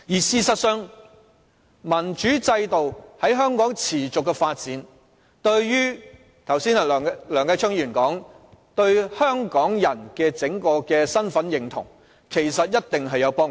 事實上，民主制度在香港持續發展，正如梁繼昌議員剛才說，這其實對整體香港人的身份認同一定有幫助。